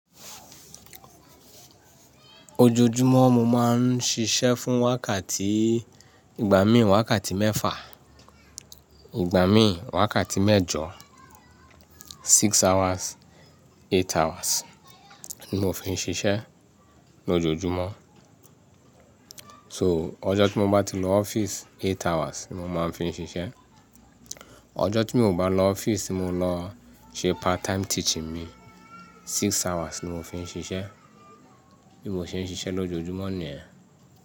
Ojoojúmọ́ mo máa ń ṣiṣẹ́ fún wákàtí ìgbà míì wákàtí mẹ́fà, ìgbà míì wákàtí mẹ́jọ. Six hours, eight hours ni mo fi ń ṣiṣẹ́ lójoojúmọ́. So, ọjọ́ tí mo bá ti lọ office eight hours ni mo máa ń fi ṣiṣẹ́. Ọjọ́ tí mi ò bá lọ office, mo lọ ṣe part time teaching mi six hours ni mo fi ń ṣiṣẹ́. Bí mo ṣe ń ṣiṣẹ́ lójoojúmọ́ nìyẹn.